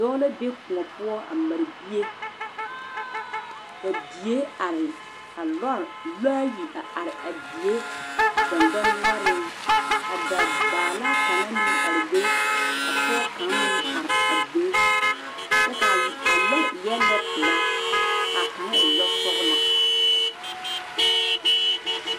Dɔɔ la be kõɔ poɔ a mare bie ka die are ka lɔɔre yi are a die dɔdɔnoɔre ka da bala kaŋe are be ka pɔge kaŋa are a be kyɛ kaa lɔɔre eɛ lɔɔ peɛle kaa kaŋ e lɔɔ soɔgele.